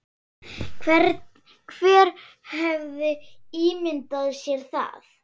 Hver hefði ímyndað sér það?